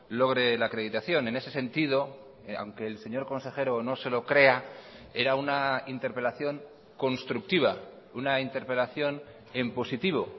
logre la acreditación en ese sentido aunque el señor consejero no se lo crea era una interpelación constructiva una interpelación en positivo